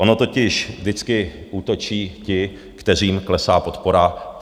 Ono totiž vždycky útočí ti, kterým klesá podpora.